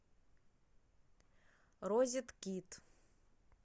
розеткед